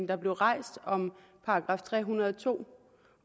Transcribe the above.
der blev rejst om § tre hundrede og to